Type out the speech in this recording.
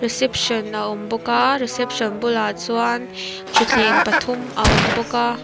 ception a awm bawk a reception bulah chuan thuthleng pathum a awm bawk a.